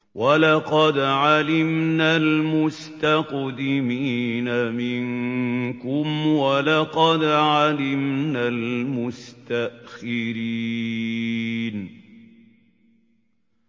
وَلَقَدْ عَلِمْنَا الْمُسْتَقْدِمِينَ مِنكُمْ وَلَقَدْ عَلِمْنَا الْمُسْتَأْخِرِينَ